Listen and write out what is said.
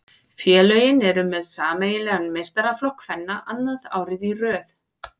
Félögin eru með sameiginlegan meistaraflokk kvenna annað árið í röð.